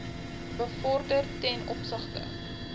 bevorder ten opsigte